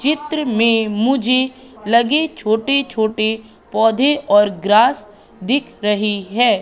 चित्र में मुझे लगे छोटे छोटे पौधे और ग्रास दिख रहे हैं।